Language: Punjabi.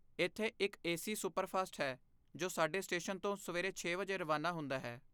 ਇੱਥੇ ਇੱਕ ਏ ਸੀ ਸੁਪਰਫਾਸਟ ਹੈ ਜੋ ਸਾਡੇ ਸਟੇਸ਼ਨ ਤੋਂ ਸਵੇਰੇ ਛੇ ਵਜੇ ਰਵਾਨਾ ਹੁੰਦਾ ਹੈ